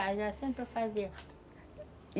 Já, já sempre eu fazia. E